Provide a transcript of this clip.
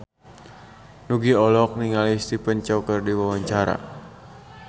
Nugie olohok ningali Stephen Chow keur diwawancara